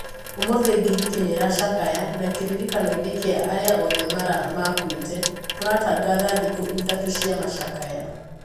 ũmũthĩ Giriki niirashakaya, na kiririkanoini kia aria oothe makuite turatagatha thikũ ithatũ cia macakaya.